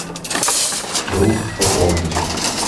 друг пополнить